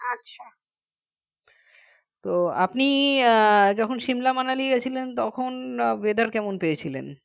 তো আপনি যখন simla manali গিয়েছিলেন তখন weather কেমন পেয়েছিলেন